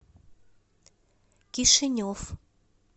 кишинев